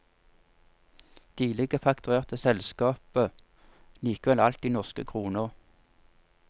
Tidligere fakturerte selskapet likevel alt i norske kroner.